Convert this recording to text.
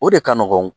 O de ka nɔgɔn